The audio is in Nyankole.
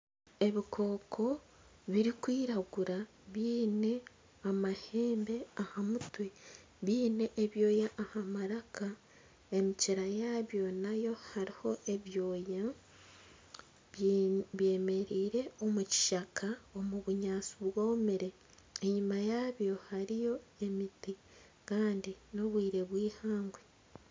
Ebikooko birikwiragura biine amahembe aha mutwe, biine ebyoya aha maraka. Emikira yaabyo nayo hariho ebyoya. Byemereire omu kishaka omu bunyaatsi bwomire. Enyima yaabyo hariyo emiti kandi n'obwire bw'eihangwe.